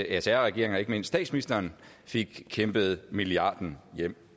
sr regeringen og ikke mindst statsministeren fik kæmpet milliarden hjem